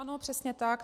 Ano, přesně tak.